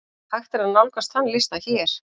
Hægt er nálgast þann lista hér.